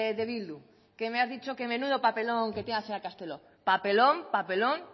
de bildu que me has dicho que menudo papelón que tiene que hacer la castelo papelón papelón